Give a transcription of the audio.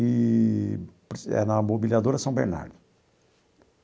Eee... é na mobiliadora São Bernardo.